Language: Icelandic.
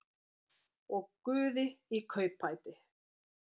Og guði í kaupbæti.